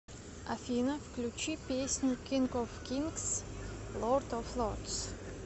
афина включи песню кинг оф кингс лорд оф лордс